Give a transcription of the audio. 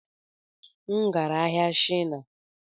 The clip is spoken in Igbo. M gara ahịa na Shina